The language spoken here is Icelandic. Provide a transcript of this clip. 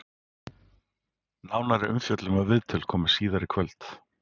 Nánari umfjöllun og viðtöl koma síðar í kvöld.